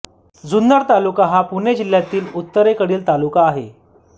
जुन्नर तालुका हा पुणे जिल्ह्यातील उत्तरेकडील तालुका आहे